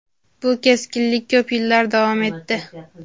bu keskinlik ko‘p yillar davom etdi.